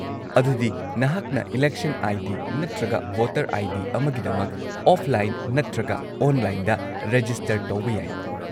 -ꯑꯗꯨꯗꯤ ꯅꯍꯥꯛꯅ election ID. ꯅꯠꯇ꯭ꯔꯒ ꯚꯣꯇꯔ ꯑꯥꯏ.ꯗꯤ. ꯑꯃꯒꯤꯗꯃꯛ ꯑꯣꯐꯂꯥꯏꯟ ꯅꯠꯇ꯭ꯔꯒ ꯑꯣꯟꯂꯥꯏꯟꯗ ꯔꯦꯖꯤꯁꯇꯔ ꯇꯧꯕ ꯌꯥꯏ ꯫